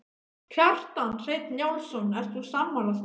Kjartan Hreinn Njálsson: Ert þú sammála því?